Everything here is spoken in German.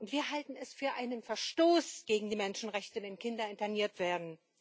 Wir halten es für einen Verstoß gegen die Menschenrechte, wenn Kinder interniert werden.